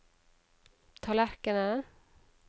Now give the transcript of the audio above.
tallerkenen